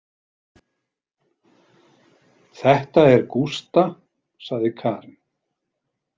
Þetta er Gústa, sagði Karen.